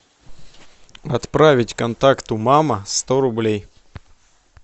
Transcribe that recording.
отправить контакту мама сто рублей